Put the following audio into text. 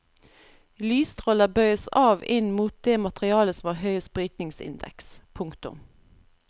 Lysstråler bøyes av inn mot det materialet som har høyest brytningsindeks. punktum